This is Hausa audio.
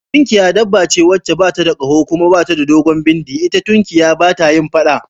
Tunkiya dabba ce wacce bata da kaho kuma tana da dogon bindi, ita tunkiya bata yin faɗa